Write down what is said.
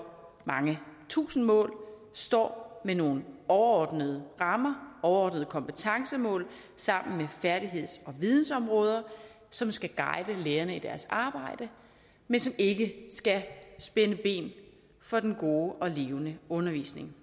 mange tusinde mål nu står med nogle overordnede rammer overordnede kompetencemål sammen med færdigheds og vidensområder som skal guide lærerne i deres arbejde men som ikke skal spænde ben for den gode og levende undervisning